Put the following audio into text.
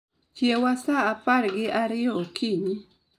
Chiewa sa apar gi ariyo okinyi